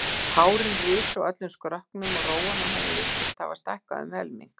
Hárin risu á öllum skrokknum og rófan á henni virtist hafa stækkað um helming.